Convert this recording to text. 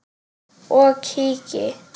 og kíki.